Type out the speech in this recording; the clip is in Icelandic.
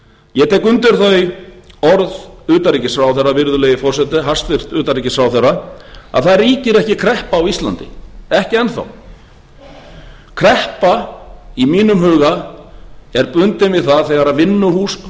ég tek undir þau orð hæstvirts utanríkisráðherra virðulegi forseti að það ríkir ekki kreppa á íslandi ekki enn þá kreppa í mínum huga er bundin við það þegar